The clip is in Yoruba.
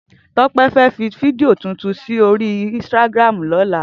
Tope fè fi fídìó tútún sóri instàgrámú lòlá